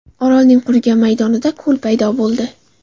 Orolning qurigan maydonida ko‘l paydo bo‘ldi.